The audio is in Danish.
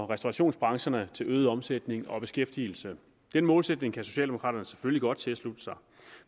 restaurationsbranchen til øget omsætning og beskæftigelse den målsætning kan socialdemokraterne selvfølgelig godt tilslutte sig